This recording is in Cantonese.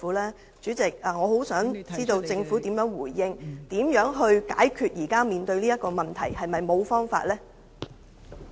代理主席，我想知道政府的回應，如何解決現時面對的問題，是否沒有辦法呢？